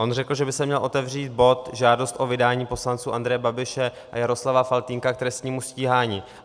On řekl, že by se měl otevřít bod Žádost o vydání poslanců Andreje Babiše a Jaroslava Faltýnka k trestnímu stíhání.